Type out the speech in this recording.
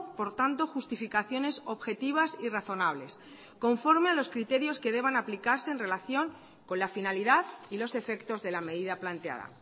por tanto justificaciones objetivas y razonables conforme a los criterios que deban aplicarse en relación con la finalidad y los efectos de la medida planteada